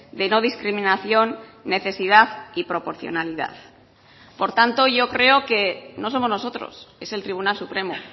de no discriminación necesidad y proporcionalidad por tanto yo creo que no somos nosotros es el tribunal supremo